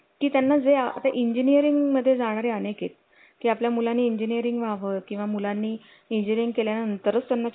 की त्यांना जे आता इंजीनीरिंग मध्ये जाणारे अनेक आहे की आपल्या मुलांनी इंजीनीरिंग वर किंवा मुलांनी इंजीनीरिंग केल्यानंतरच त्यांना